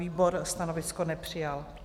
Výbor stanovisko nepřijal.